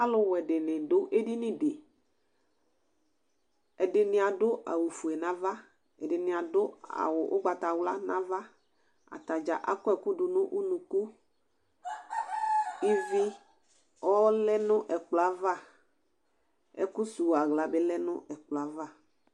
Alʋwɛ dìní du ɛdiní di Ɛdiní adu awu fʋe nʋ ava Ɛdiní adu ugbatawla nʋ ava Atadza akɔ ɛku du nu ʋnʋku Íví ɔlɛ nʋ ɛkplɔ Ɛkʋ sʋwu aɣla bi lɛ nʋ ɛkplɔ yɛ ava